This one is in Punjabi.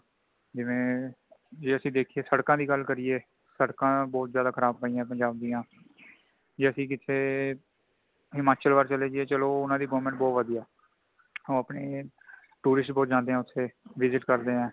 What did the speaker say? ਜਿਵੇਂ ਅਸੀ ਦੇਖੀਏ ਸੜਕਾਂ ਦੀ ਗੱਲ ਕਰੀਏ , ਸੜਕਾਂ ਬਹੁਤ ਜ਼ਿਆਦਾ ਖ਼ਰਾਬ ਪਈਆਂ ਪੰਜਾਬ ਦਿਆਂ , ਜੇ ਅਸੀਂ ਕਿੱਥੇ ਹਿਮਾਚਲ ਵੱਲ ਚੱਲੇ ਜਾਈਏ ਚੱਲੋ ਉਨ੍ਹਾਂ ਦੀ government ਬਉ ਵਧਿਆ ਹੈ ,ਉਹ ਅਪਣੇ tourist ਬਓਤ ਜਾਂਦੇ ਨੇ ਉੱਥੇ visits ਕਰਦੇ ਹੈ |